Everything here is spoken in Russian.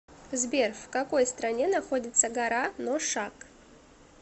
сбер в какой стране находится гора ношак